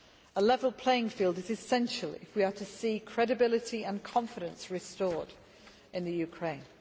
A level playing field is essential if we are to see credibility and confidence restored in Ukraine.